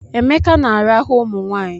Emeka na-arahụ ụmụnwaanyị